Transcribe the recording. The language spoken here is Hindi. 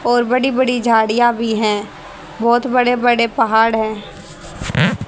और बड़ी बड़ी झाड़ियां भी है बहोत बड़े बड़े पहाड़ है।